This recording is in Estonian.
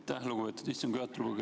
Aitäh, lugupeetud istungi juhataja!